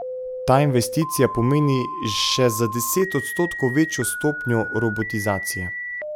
Ta investicija pomeni še za deset odstotkov večjo stopnjo robotizacije.